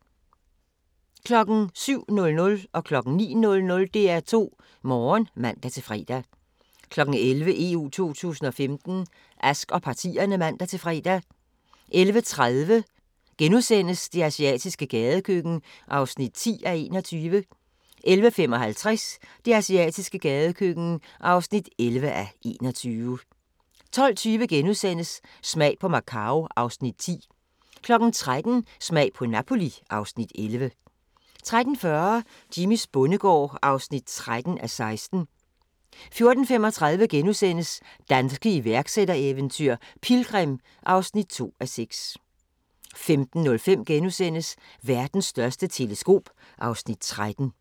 07:00: DR2 Morgen (man-fre) 09:00: DR2 Morgen (man-fre) 11:00: EU 2015: Ask og partierne (man-fre) 11:30: Det asiatiske gadekøkken (10:21)* 11:55: Det asiatiske gadekøkken (11:21) 12:20: Smag på Macau (Afs. 10)* 13:00: Smag på Napoli (Afs. 11) 13:40: Jimmys bondegård (13:16) 14:35: Danske iværksættereventyr - Pilgrim (2:6)* 15:05: Verdens største teleskop (Afs. 13)*